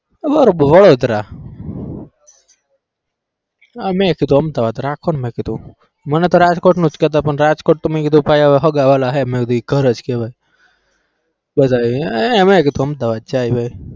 વડોદરા અમ મેં કીધું અમદાવાદ રાખોને મે કીધું મને તો રાજકોટનું જ કહેતા પણ રાજકોટ તો મેં કીધું ભાઈ હવે સગાવાલા છે મેં કીધું એ ઘર જ કહેવાય બધા મેં કીધું અમદાવાદ જાય ભાઈ.